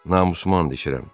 Namusumla and içirəm.